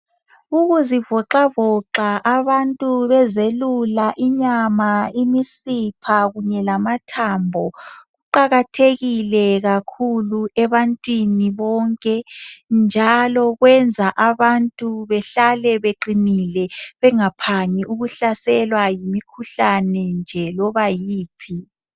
Ukuzivoxavoxa abantu bezelula inyama imisipha kunye lamathambo kuqakathekile kakhulu ebantwini bonke njalo kwenza abantu behlale beqinile bengaphangi ukuhlaselwa yimkhuhlane nje loba yiphi.